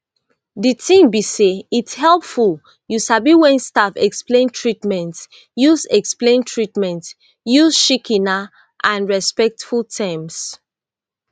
de tin be say its helpful you sabi wen staff explain treatments use explain treatments use shikena and respectful terms